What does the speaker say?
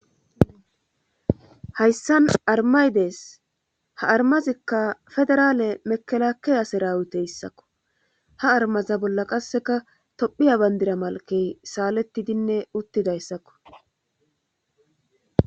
hayssan armaydees ha armazikka federaale mekelakeyaseraawuteyssakko ha armaza bolla qasseka tophiya bandira malkey saalettidinne uttidayssakko